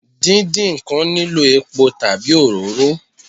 Díndín ǹkan nílò epo tàbí òróró